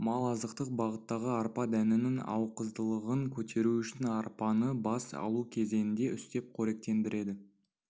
мал азықтық бағыттағы арпа дәнінің ақуыздылығын көтеру үшін арпаны бас алу кезеңінде үстеп қоректендіреді